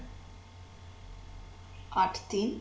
আট তিন